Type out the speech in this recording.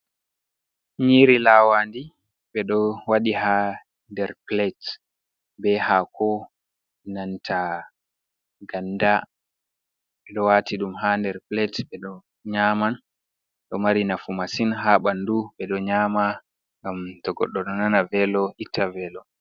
Nyiri lawandi ɓeɗo waɗi ha nder pilet be hako nanta ganda ɓeɗo wati ɗum ha nder pilet ɓeɗo nyaman do mari nafu masin ha ɓandu ɓeɗo nyama ngam to goɗɗo ɗo nana velo ita velo.